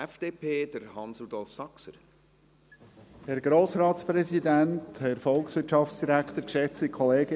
In diesem Sinn lehnen wir den Eventualantrag ab.